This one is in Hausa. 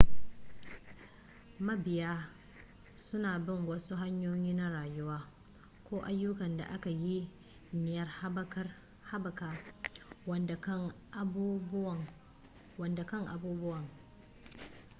mabiya suna bin wasu hanyoyi na rayuwa ko ayyukan da aka yi niyyar haɓaka waɗancan abubuwan